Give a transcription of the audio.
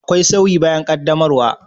Akwai sauyi bayan qaddamarwa?